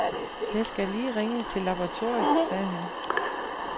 Jeg skal lige ringe til laboratoriet, sagde han.